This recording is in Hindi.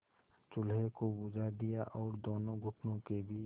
चूल्हे को बुझा दिया और दोनों घुटनों के बीच